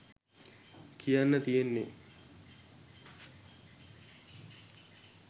කියන්න තියෙන්නෙ.